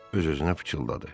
Öz-özünə pıçıldadı.